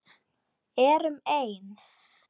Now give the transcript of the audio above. Erum ein.